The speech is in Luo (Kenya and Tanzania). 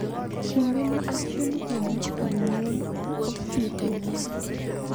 Kinde ma achiel kuom jonyuol osiepene